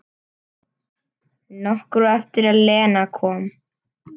Nokkru eftir að Lena kom.